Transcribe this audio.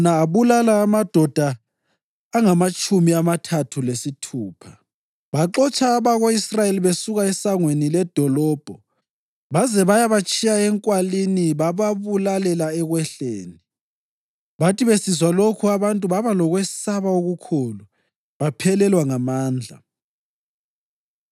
abulala amadoda angamatshumi amathathu lesithupha. Baxotsha abako-Israyeli besuka esangweni ledolobho baze bayabatshiya enkwalini bababulalela ekwehleni. Bathi besizwa lokhu abantu baba lokwesaba okukhulu, baphelelwa ngamandla.